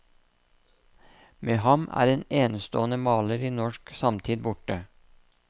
Med ham er en enestående maler i norsk samtid borte.